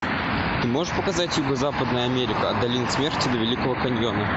ты можешь показать юго западная америка от долины смерти до великого каньона